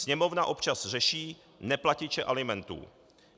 Sněmovna občas řeší neplatiče alimentů.